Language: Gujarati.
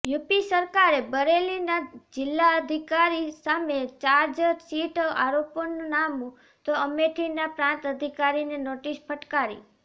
યુપી સરકારે બરેલીના જિલ્લાધિકારી સામે ચાર્જશીટ આરોપનામું તો અમેઠીના પ્રાંત અધિકારીને નોટિસ ફટકારી